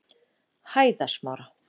Hæðasmára